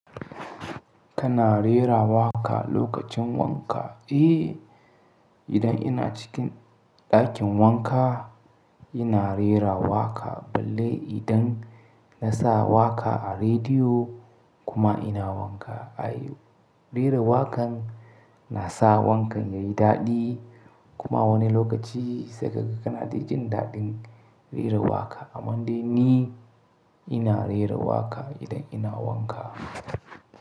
Kana rera waƙa lokacin wanka? Eh, idan ina cikin ɗakin wanka, ina rera waƙa, balle idan na sa waƙa a rediyo kuma ina wanka. Ai, rera waƙan nasa wankan yayi daɗi kuma wani lokaci saika ga kanada jin daɗin rera waƙa. Ammande ni ina rera waƙa idan ina wanka.